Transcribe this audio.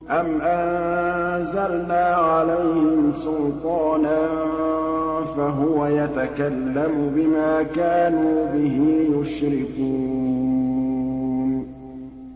أَمْ أَنزَلْنَا عَلَيْهِمْ سُلْطَانًا فَهُوَ يَتَكَلَّمُ بِمَا كَانُوا بِهِ يُشْرِكُونَ